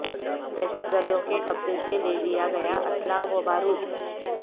دہشت گردوں کے قبضے سے لیا گیا اسلحہ و بارود